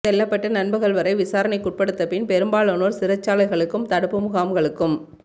செல்லப்பட்டு நண்பகல் வரை விசாரணைக்குட்படுத்தப்பட்ட பின் பெரும்பாலானோர் சிறைச்சாலைகளுக்கும் தடுப்பு முகாம்களுக்கும்